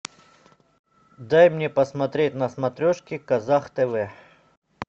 дай мне посмотреть на смотрешке казах тв